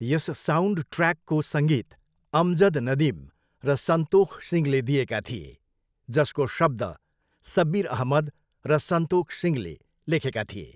यस साउन्डट्र्याकको सङ्गीत अमजद नदिम र सन्तोख सिंहले दिएका थिए, जसको शब्द सब्बिर अहमद र सन्तोख सिंहले लेखेका थिए।